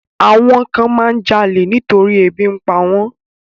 Àwọn kan máa ń jalè nítorí ebi ń pa wọ́n.